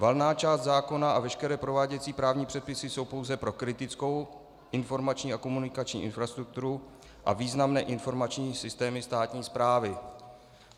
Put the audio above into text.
Valná část zákona a veškeré prováděcí právní předpisy jsou pouze pro kritickou informační a komunikační infrastrukturu a významné informační systémy státní správy.